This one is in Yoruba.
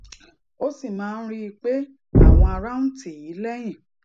ó sì máa ń rí i pé àwọn ará ń tì í léyìn